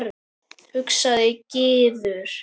hugsaði Gizur.